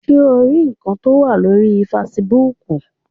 Ṣé o rí ǹkan tó wà lórii fesibúùkù?